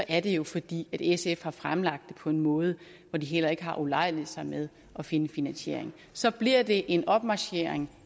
er det jo fordi sf har fremsat det på en måde hvor de heller ikke har ulejliget sig med at finde en finansiering så bliver det en opmarchering